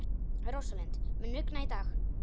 Rósalind, mun rigna í dag?